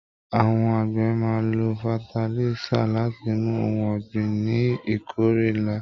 Àwọn àgbẹ̀ máa n ló fatalisa láti mú ohùn ọ̀gbìn ní ìkórè nlá.